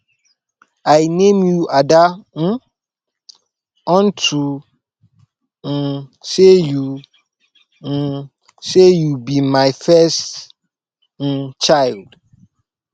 i name you ada um unto um say you um say you be my first um child